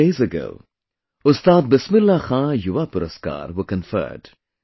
A few days ago, 'Ustad Bismillah Khan Yuva Puraskar' were conferred